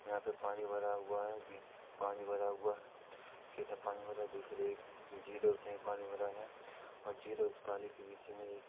यहाँ पे पानी भरा हुआ है बीत पानी भरा हुआ है खेत मे पानी भरा दूसरे एक झील है उसमें भी पानी भरा है और झील है उस पानी के बीच मे एक--